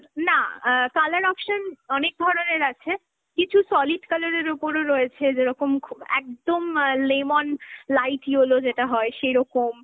না, অ্যাঁ colour option অনেক ধরনের আছে, কিছু solid colour এর ওপরও রয়েছে, যেরকম, একদম অ্যাঁ lemon light yellow যেটা হয় সেইরকম